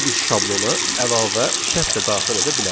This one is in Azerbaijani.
Burada biz şablona əlavə şərt də daxil edə bilərik.